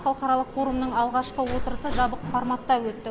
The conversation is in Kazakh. халықаралық форумның алғашқы отырысы жабық форматта өтті